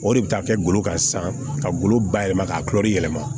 O de bɛ taa kɛ golo kan sisan ka golo ba yɛlɛma ka yɛlɛma